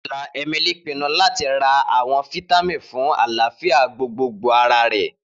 Ni ọla, Emili pinnu lati ra awọn fitamin fun alafia gbogbogbo ara rẹ.